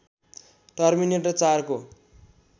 terminator ४ को